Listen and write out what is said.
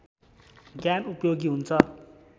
ज्ञान उपयोगी हुन्छ